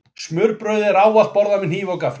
Smurbrauðið er ávallt borðað með hníf og gaffli.